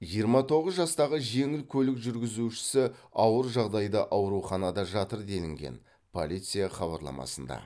жиырма тоғыз жастағы жеңіл көлік жүргізушісі ауыр жағдайда ауруханада жатыр делінген полиция хабарламасында